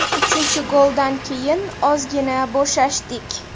Uchinchi goldan keyin ozgina bo‘shashdik.